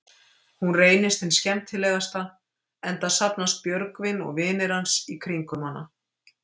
Hún reynist hin skemmtilegasta, enda safnast Björgvin og vinir hans í kringum hana.